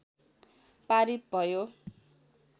पारित भयो